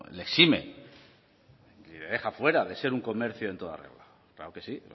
le exime ni le deja fuera de ser un comercio en toda regla claro que sí